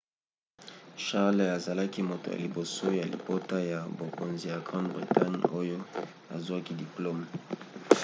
charles azalaki moto ya liboso ya libota ya bokonzi ya grande bretagne oyo azwaki diplome